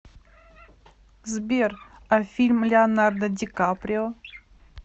сбер а фильм леонардо ди каприо